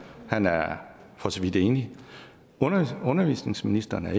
og han er for så vidt enig og undervisningsministeren er